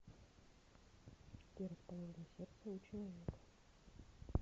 где расположено сердце у человека